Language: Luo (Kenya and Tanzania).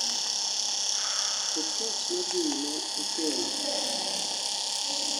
oketch nodhiine okello